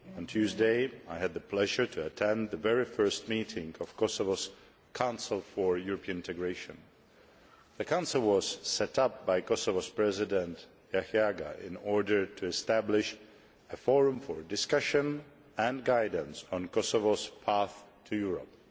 On Tuesday I had the pleasure of attending the very first meeting of Kosovo's Council for European Integration. The Council was set up by Kosovo's President Jahjaga in order to establish a forum for discussion and guidance on Kosovo's path to Europe.